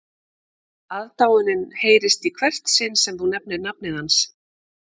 Aðdáunin heyrist í hvert sinn sem þú nefnir nafnið hans